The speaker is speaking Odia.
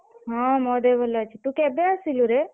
ହଁ ମୋ ଦେହ ଭଲ ଅଛି ତୁ କେବେ ଆସିଲୁ ରେ?